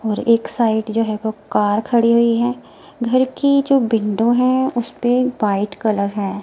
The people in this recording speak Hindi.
और एक साइड जो है वो कार खड़ी हुई है घर की जो विंडो है उसे पर वाइट कलर है।